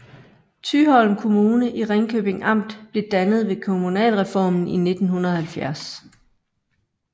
Thyholm Kommune i Ringkøbing Amt blev dannet ved kommunalreformen i 1970